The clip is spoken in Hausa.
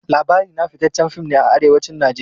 Labari na fitaccen fim ne a Arewacin Najeriya.